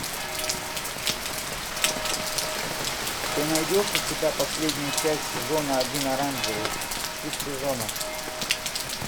ты найдешь у себя последнюю часть сезона один оранжевый хит сезона